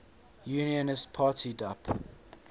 unionist party dup